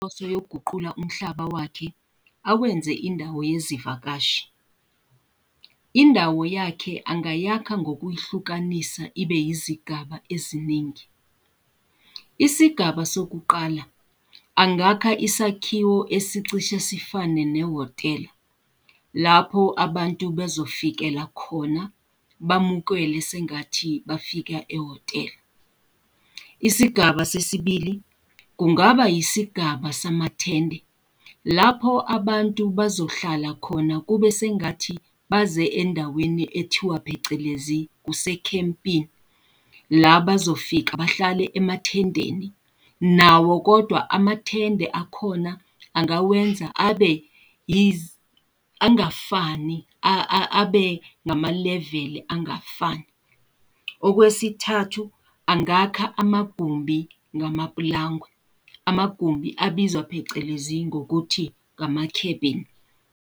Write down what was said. Uyoguqula umhlaba wakhe awenze indawo yezivakashi. Indawo yakhe angayiyakha ngokuyihlukanisa, ibe izigaba eziningi. Isigaba sokuqala, angakha isakhiwo esicishe sifane nehhotela, lapho abantu bezofikela khona bamukele sengathi bafika ehhotela. Isigaba sesibili, kungaba yisigaba samathende lapho abantu bazohlala khona kube sengathi baze endaweni ekuthiwa phecelezi kusecampini, la bazofika bahlale emathendeni, nawo kodwa amathende akhona angawenza abe angafani abe ngama-leveli angafani. Okwesithathu, angaka amagumbi ngamapulangwe, amagumbi abizwa phecelezi ngokuthi kama-cabin.